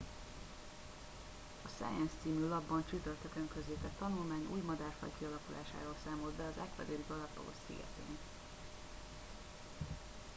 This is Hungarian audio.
a science című lapban csütörtökön közzétett tanulmány új madárfaj kialakulásáról számolt be az ecuadori galápagos szigeteken